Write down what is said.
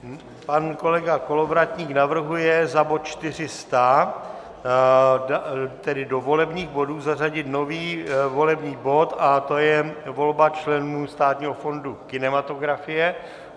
Pan kolega Kolovratník navrhuje za bod 400, tedy do volebních bodů, zařadit nový volební bod a to je volba členů Státního fondu kinematografie.